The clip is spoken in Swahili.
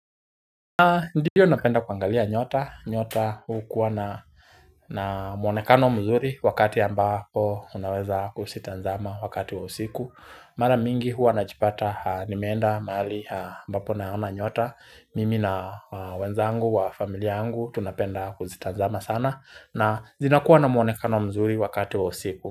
Ndiyo napenda kuangalia nyota, nyota hukua na muonekano mzuri wakati ambapo unaweza kuzitazama wakati wa usiku Mara mingi hua najipata nimeenda mahali ambapo naona nyota, mimi na wenzangu wa familia yangu tunapenda kuzitazama sana na zinakuwa na muonekano mzuri wakati wa usiku.